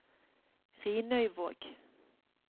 Rinøyvåg